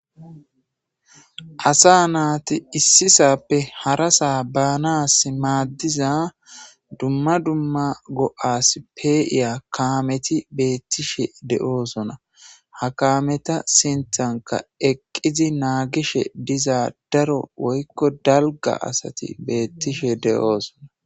asa naati issisappe hara saa baanas maaddiza dumma dumma go7as peiya kaameti beettishe de7oosona ha kaameta sinthanka eqqizi naagishe diza daro woykko dalga asati beettishe de7oosona